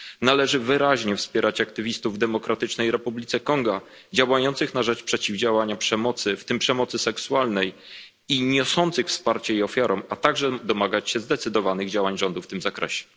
Należy wyraźnie wspierać aktywistów w Demokratycznej Republice Konga działających przeciw przemocy, w tym przemocy seksualnej, i niosących wsparcie jej ofiarom, a także domagać się zdecydowanych działań rządu w tym zakresie.